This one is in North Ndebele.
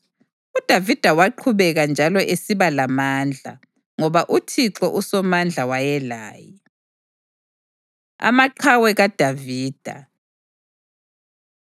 UDavida waqhubeka njalo esiba lamandla, ngoba uThixo uSomandla wayelaye. Amaqhawe KaDavida